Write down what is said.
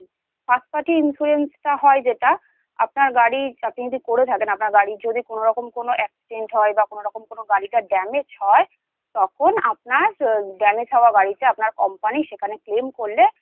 First Party insurance টা হয় যেটা আপনার গাড়ি৷ আপনি যদি করে থাকেন আপনার বাড়ি যদি কোনওরকম কোনও Damage হয় তখন আপনার Damage হওয়া গাড়িতে আপনার Company সেখানে Claim